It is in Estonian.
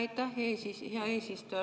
Aitäh, hea eesistuja!